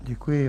Děkuji.